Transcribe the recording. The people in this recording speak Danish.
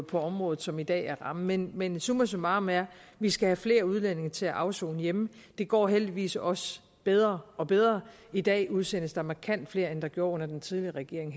på området som i dag er rammen men men summa summarum er at vi skal have flere udlændinge til at afsone hjemme det går heldigvis også bedre og bedre i dag udsendes der markant flere end der gjorde under den tidligere regering